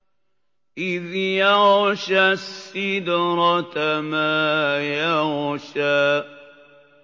إِذْ يَغْشَى السِّدْرَةَ مَا يَغْشَىٰ